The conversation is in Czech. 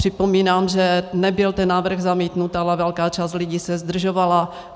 Připomínám, že nebyl ten návrh zamítnut, ale velká část lidí se zdržovala.